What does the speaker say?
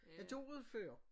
Jeg gjorde det før